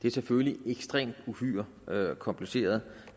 er selvfølgelig uhyre kompliceret